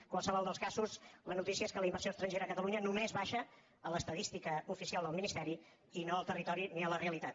en qualsevol dels casos la notícia és que la inversió estrangera a catalunya només baixa a l’estadística ofi·cial del ministeri i no al territori ni a la realitat